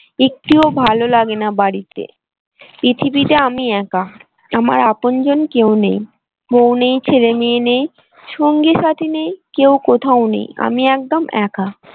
একটুও ভালো লাগে না বাড়িতে পৃথিবীতে আমি একা আমার আপনজন কেউ নেই বউ নেই ছেলে মেয়ে নেই সঙ্গী সাথী নেই কেউ কোথাও নেই আমি একদম একা।